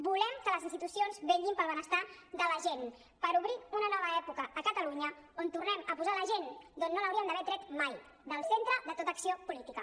volem que les institucions vetllin pel benestar de la gent per obrir una nova època a catalunya on tornem a posar la gent d’on no l’hauríem d’haver tret mai del centre de tota acció política